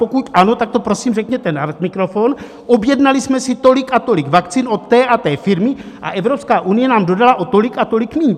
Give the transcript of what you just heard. Pokud ano, tak to prosím řekněte na mikrofon, objednali jsme si tolik a tolik vakcín od té a té firmy a Evropská unie nám dodala o tolik a tolik míň.